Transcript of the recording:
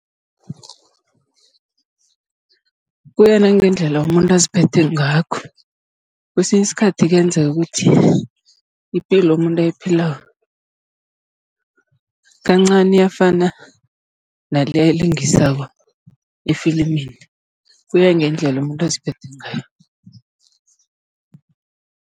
Kuya nangendlela umuntu aziphethe ngakho, kesinye isikhathi kuyenzeka ukuthi ipilo umuntu ayiphilako, kancani iyafana nale ayilingisako efilimini. Kuya ngendlela umuntu aziphethe ngayo.